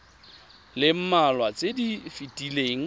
le mmalwa tse di fetileng